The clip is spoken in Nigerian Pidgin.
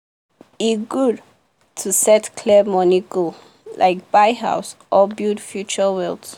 e good to set clear money goal like buy house or build future wealth.